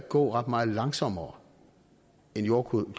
gå ret meget langsommere end jordkloden